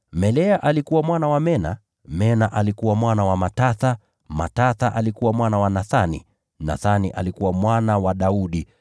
Melea alikuwa mwana wa Mena, Mena alikuwa mwana wa Matatha, Matatha alikuwa mwana wa Nathani, Nathani alikuwa mwana wa Daudi,